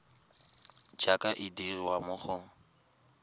jaaka e dirwa mo go